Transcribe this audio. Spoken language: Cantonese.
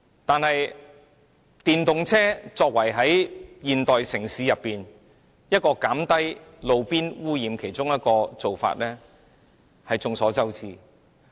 但眾所周知，電動車是現時減低路邊污染的其中一個方法。